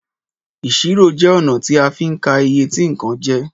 Ìṣirò jẹ ọ̀nà ti a fín ka iye tí nkàn je